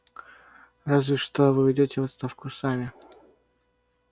разве что вы уйдёте в отставку сами